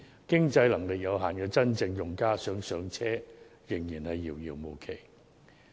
經濟能力有限的真正用家想"上車"，仍然遙遙無期。